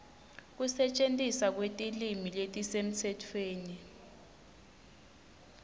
kusetjentiswa kwetilwimi letisemtsetfweni